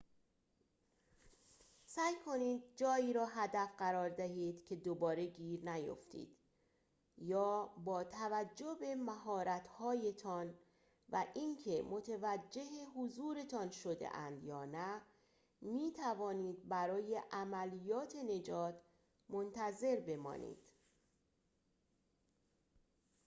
سعی کنید جایی را هدف قرار دهید که دوباره گیر نیفتید یا با توجه به مهارت‌هایتان و اینکه متوجه حضورتان شده‌اند یا نه می‌توانید برای عملیات نجات منتظر بمانید